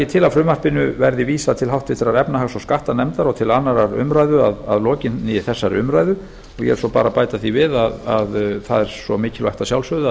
til að frumvarpinu verði vísað til háttvirtrar efnahags og skattanefndar og til annarrar umræðu að lokinni þessari umræðu og ég vil svo bara bæta því við að það er svo mikilvægt að sjálfsögðu